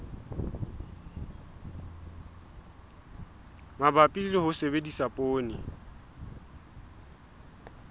mabapi le ho sebedisa poone